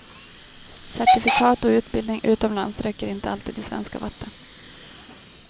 Certifikat och utbildning utomlands räcker inte alltid i svenska vatten.